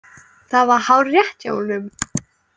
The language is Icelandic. Það var hárrétt hjá honum.